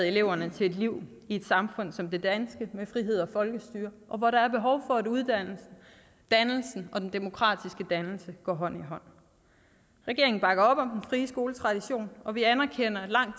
eleverne til et liv i et samfund som det danske med frihed og folkestyre og hvor der er behov for at uddannelse dannelse og den demokratiske dannelse går hånd i hånd regeringen bakker op om den frie skoletradition og vi anerkender at langt